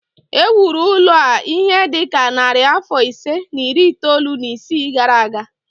E wuru ụlọ a ihe dị ka narị afọ ise na iri itoolu na isii gara aga